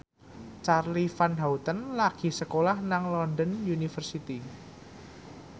Charly Van Houten lagi sekolah nang London University